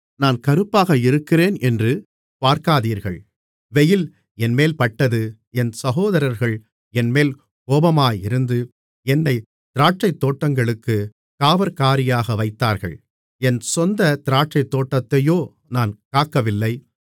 நான் கறுப்பாக இருக்கிறேன் என்று பார்க்காதீர்கள் வெயில் என்மேல் பட்டது என் சகோதரர்கள் என்மேல் கோபமாயிருந்து என்னைத் திராட்சைத் தோட்டங்களுக்குக் காவற்காரியாக வைத்தார்கள் என் சொந்தத் திராட்சைத்தோட்டத்தையோ நான் காக்கவில்லை